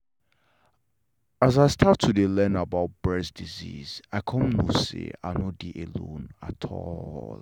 as i start to learn about breast disease i come know say i no dey alone at all